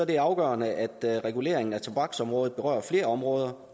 det afgørende at reguleringen af tobaksområdet berører flere områder